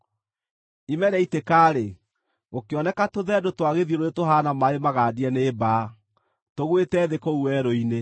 Ime rĩaitĩka-rĩ, gũkĩoneka tũthendũ twa gĩthiũrũrĩ tũhaana maaĩ magandie nĩ mbaa, tũgwĩte thĩ kũu werũ-inĩ.